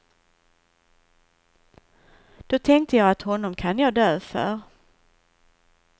Då tänkte jag att honom kan jag dö för.